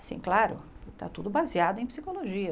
Assim, claro, está tudo baseado em psicologia.